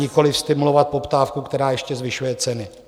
, nikoliv stimulovat poptávku, která ještě zvyšuje ceny.